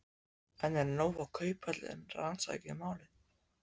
En er nóg að Kauphöllin rannsaki málið?